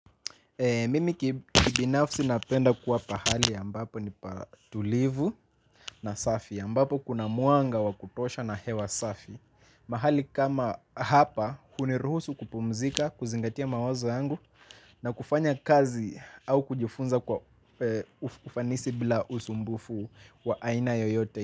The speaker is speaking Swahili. Mimi kibinafsi napenda kuwa pahali ambapo ni patulivu na safi. Ambapo kuna mwanga wa kutosha na hewa safi. Mahali kama hapa, huniruhusu kupumzika, kuzingatia mawazo yangu, na kufanya kazi au kujifunza kwa ufanisi bila usumbufu wa aina yoyote.